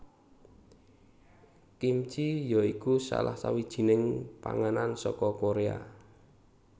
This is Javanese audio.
Kimchi ya iku salah sawijining panganan saka Koréa